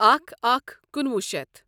اکھَ اکھ کنُۄُہ شیتھ